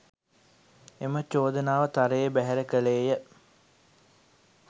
එම චෝදනාව තරයේ බැහැර කළේය